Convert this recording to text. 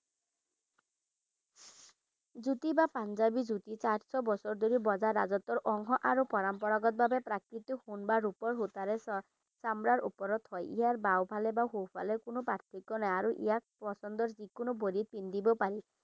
জুত্তি বা পাঞ্জাবী জুতি চাৰিশ বছৰ ধৰি বজাৰ ৰাজত্বৰ অংশ আৰু পৰম্পৰাগতভাবে প্ৰাকৃতিক সোন বা ৰূপাৰ সূতাৰে চামৰাৰ ওপৰত হয় ইয়াৰ বাওফলে বা সোফালে কোনো পাৰ্থক্য নাই আৰু ইয়াক পছন্দৰ যিকোনো ভৰিত পিন্ধিব পাৰি।